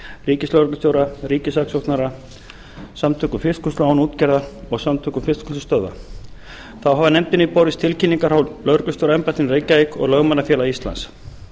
ríkislögreglustjóra ríkissaksóknara samtökum fiskvinnslu án útgerðar og samtökum fiskvinnslustöðva þá hafa nefndinni borist tilkynningar frá lögreglustjóraembættinu í reykjavík og lögmannafélagi íslands